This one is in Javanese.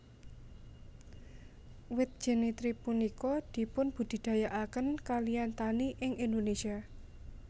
Wit Jenitri punika dipunbudidayakaken kaliyan tani ing Indonesia